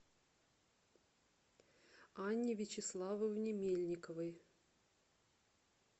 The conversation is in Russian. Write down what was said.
анне вячеславовне мельниковой